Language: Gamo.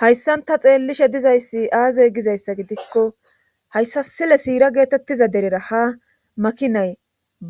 Hayssanta xeellishe dizayssi aaze gizayssa gidikko hayssa sile siira geetettiza derera ha makinay